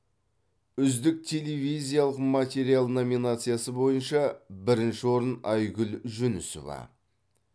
үздік телевизиялық материал номинациясы бойынша бірінші орын айгүл жүнісова